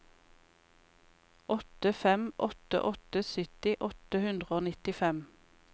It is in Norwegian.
åtte fem åtte åtte sytti åtte hundre og nittifem